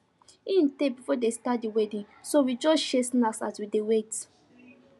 e tey before them start the wedding so we just share snacks as we dey wait